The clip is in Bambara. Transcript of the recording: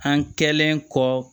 An kɛlen kɔ